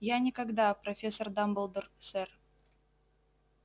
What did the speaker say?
я никогда профессор дамблдор сэр